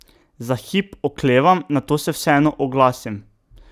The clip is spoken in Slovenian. Za hip oklevam, nato se vseeno oglasim.